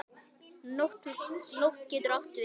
Nótt getur átt við